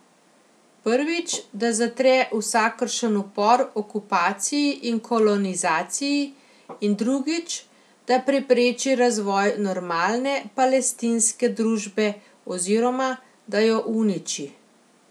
Prvič, da zatre vsakršen upor okupaciji in kolonizaciji, in drugič, da prepreči razvoj normalne palestinske družbe oziroma, da jo uniči.